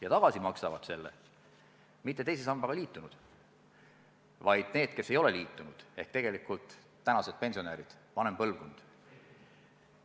Ja tagasi maksavad selle mitte teise sambaga liitunud, vaid need, kes ei ole liitunud, ehk tegelikult tänased pensionärid, vanem põlvkond.